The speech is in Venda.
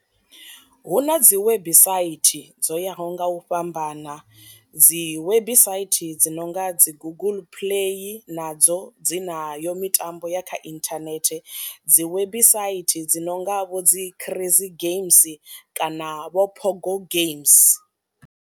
Hu na dzi website dzo yaho nga u fhambana, dzi website dzi nonga dzi guguḽu play nadzo dzina yo mitambo ya kha inthanethe, dzi website dzi nonga vho dzi prize games kana vho phogo games.